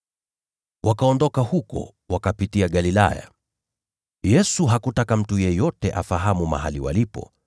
Wakaondoka huko, wakapitia Galilaya. Yesu hakutaka mtu yeyote afahamu mahali walipo,